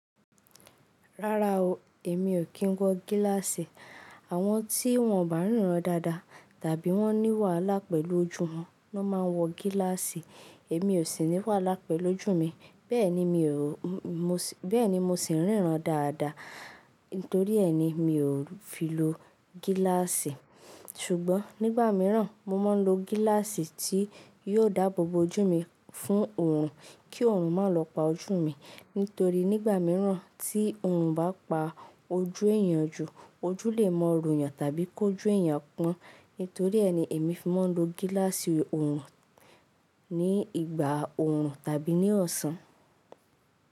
Rárá o, èmi ò kín wọ gíláàsì. Àwọn tí wọ́n ọ̀ bà ríran dáadáa tàbí wọ́n ní wàhálà pẹ̀lú ojú wọn ló máa ń wọ gíláàsì. Èmi ò sì ní wàhálà pẹ̀lú ojú mi, bẹ́ẹ̀ ni mo sì ń ríran dáadáa. Nítorí ẹ ni mi ò fi lo gíláàsì. Ṣùgbọ́n nígbà míràn mo máa ń lo gíláàsì tí yóò dáàbò bo ojú mi fún òòrùn kí òòrùn má lò pa ojú mi. Nítorí nígbà míràn tí òòrùn bá pa ojú èèyàn jù, ojú lè mọ rù yàn tàbí kọ́ ojú èèyàn pọ́n. Nítorí ẹni èmi fi máa ń lo gíláàsì òòrùn ní ìgbà òòrùn tàbí ní ọ̀sán.